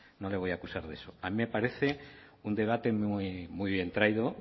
no le voy a acusar de eso a mí me parece un debate muy bien traído